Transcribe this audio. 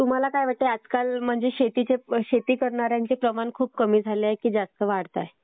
तुम्हाला काय वाटतंय कि आजकाल म्हणजे शेती करणाऱ्यांचं प्रमाण खूप कमी झालं आहे की जास्त वाढतंय?